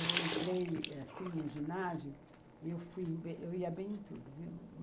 Eu entrei assim no ginásio e eu fui bem eu ia bem em tudo, viu.